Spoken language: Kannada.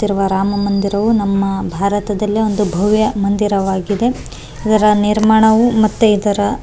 ತಿರುವ ರಾಮಮಂದಿರವು ನಮ್ಮ ಭಾರತದಲ್ಲಿ ಒಂದು ಭವ್ಯ ಮಂದಿರವಾಗಿದೆ ಇವ್ರ ನಿರ್ಮಾಣವು ಮತ್ತೆ ಇದರ.